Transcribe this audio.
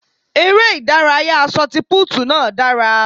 Eré ìdárayá ṣọtipúùtù náà dára.